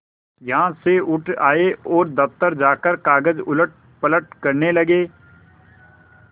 यहाँ से उठ आये और दफ्तर जाकर कागज उलटपलट करने लगे